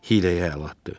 hiyləyə əl atdı.